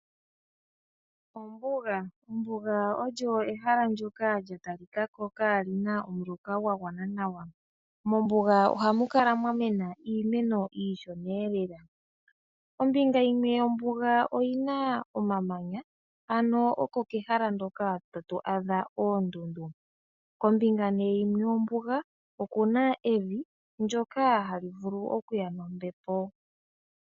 Ombuga! Ombuga oyo ehala ndyoka lya talika ko ka lina omuloka gwa gwana nawa. Mombuga ohamu kala mwa mena iimeno iishona lela. Ombinga yimwe yombuga oyina omamanya ano oko kehala hoka hatu adha oondundu, kombinga nee yimwe yombuga oku na evi ndyoka hali vulu okuya nombepo.